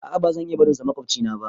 A a ba zan iya barin su da maƙwabcina ba